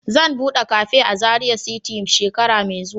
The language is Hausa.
Zan bude cafe a Zaria city shekara mai zuwa.